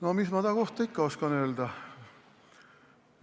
No mis ma tema kohta ikka oskan öelda.